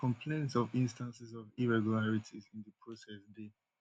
but complaints of instances of irregularities in di process dey